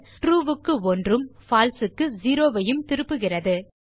true க்கு 1 உம் falseக்கு 0 ஐயும் திருப்புகிறது